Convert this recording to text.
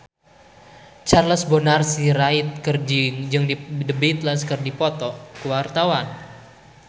Charles Bonar Sirait jeung The Beatles keur dipoto ku wartawan